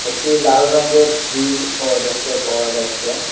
একটি লাল রঙ্গের ফ্রিজও দেখতে পাওয়া যাচ্চে ।